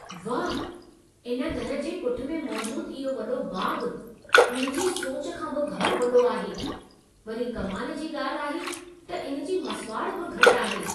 वाह! इन घर जे पुठि में मौजूदु इहो वॾो बाग़ु, मुंहिंजे सोच खां बि घणो वॾो आहे! वरी कमाल जी ॻाल्हि आहे त इन जी मसिवाड़ बि घटि आहे।